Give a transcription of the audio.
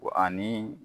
Wa ani